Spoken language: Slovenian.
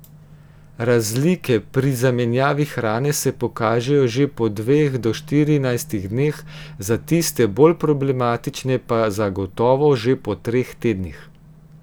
Razlike pri zamenjavi hrane se pokažejo že po dveh do štirinajstih dneh, za tiste bolj problematične pa zagotovo že po treh tednih.